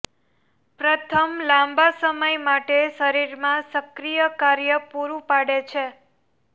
પ્રથમ લાંબા સમય માટે શરીરમાં સક્રિય કાર્ય પૂરું પાડે છે